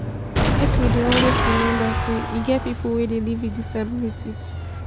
make we dey always rememba sey e get pipo wey dey live wit disabilities.